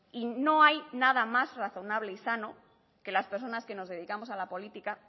y no hay nada más razonable y sano que las personas que nos dedicamos a la política